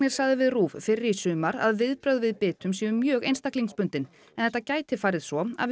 sagði við RÚV fyrr í sumar að viðbrögð við bitum séu mjög einstaklingsbundin en þetta gæti farið svo að við